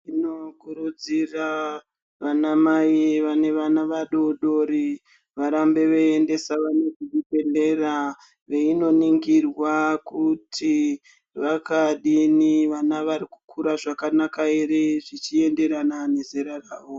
Tinokurudzira vanamayi vane vana vadodori, varambe veyiyendesa vana kuzvibhedhlera, veyinoningirwa kuti vakadini, vana varikukura zvakanaka here, zvichiyenderana nezera ravo.